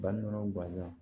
Bari o bange